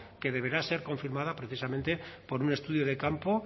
que deberá ser confirmada precisamente por un estudio de campo